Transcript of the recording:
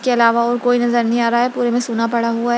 के आलावा और कोई नज़र नहीं आ रहा है पुरे में सुना पड़ा हुआ है।